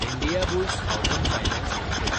Indiabulls housing finance limited